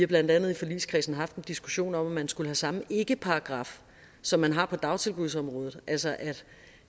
blandt andet i forligskredsen haft en diskussion om at man skulle samme ikkeparagraf som man har på dagtilbudsområdet altså